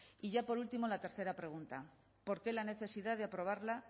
y ya por último la tercera pregunta por qué la necesidad de aprobarla